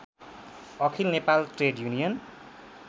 Akhil Nepal trade union